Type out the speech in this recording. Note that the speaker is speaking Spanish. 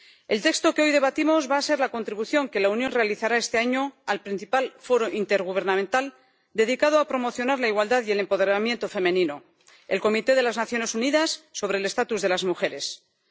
El texto que hoy debatimos va a ser la contribución que la Unión realizará este año al principal foro intergubernamental dedicado a promocionar la igualdad y el empoderamiento femenino la Comisión de la Condición Jurídica y Social de la Mujer de las Naciones Unidas.